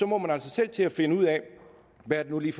må man altså selv til at finde ud af hvad det nu lige